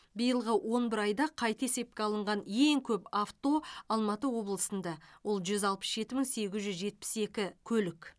биылғы он бір айда қайта есепке алынған ең көп авто алматы облысында ол жүз алпыс жеті мың сегіз жүз жетпіс екі көлік